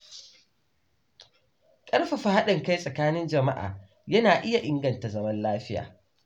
Ƙarfafa haɗin kai tsakanin jama'a yana iya inganta zaman lafiya.